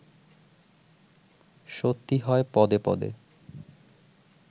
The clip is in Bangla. সত্যি হয় পদে পদে